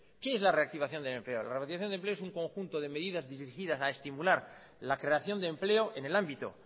qué es la reactivación del empleo la reactivación del empleo es un conjunto de medidas dirigidas a estimular la creación de empleo en el ámbito